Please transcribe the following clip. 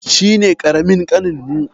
Shi ne ƙaramin ƙaninmu.